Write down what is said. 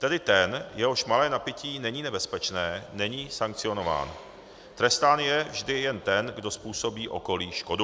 Tedy ten, jehož malé napití není nebezpečné, není sankcionován, trestán je vždy jen ten, kdo způsobí okolí škodu.